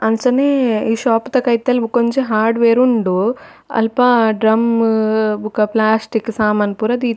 ಅಂಚನೆ ಈ ಶಾಪ್ ದ ಕೈತಲ್ ಬಕೊಂಜಿ ಹಾರ್ಡ್ವೇರ್ ಉಂಡು ಅಲ್ಪ ಡ್ರಮ್ಮ್ ಬೊಕ ಪ್ಲ್ಯಾಸ್ಟಿಕ್ ಸಾಮನ್ ಪೂರ ದೀ--